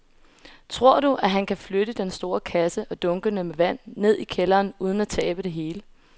Tror du, at han kan flytte den store kasse og dunkene med vand ned i kælderen uden at tabe det hele?